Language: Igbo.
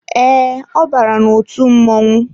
Ee, ọ bara n'otu mmọnwu